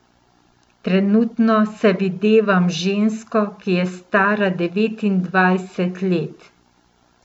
Trenutno se videvam z žensko, ki je stara devetindvajset let.